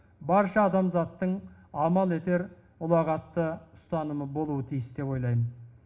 барша адамзаттың амал етер ұлағатты ұстанымы болуы тиіс деп ойлаймын